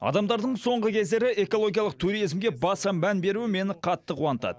адамдардың соңғы кездері экологиялық туризмге баса мән беруі мені қатты қуантады